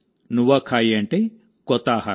నువాఖాయి అంటే కొత్త ఆహారం